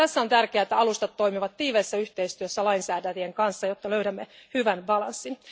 Tässä on tärkeää, että alustat toimivat tiiviissä yhteistyössä lainsäätäjien kanssa, jotta löydämme hyvän tasapainon.